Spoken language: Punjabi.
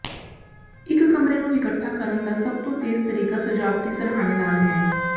ਇਕ ਕਮਰੇ ਨੂੰ ਇਕੱਠਾ ਕਰਨ ਦਾ ਸਭ ਤੋਂ ਤੇਜ਼ ਤਰੀਕਾ ਸਜਾਵਟੀ ਸਰ੍ਹਾਣੇ ਨਾਲ ਹੈ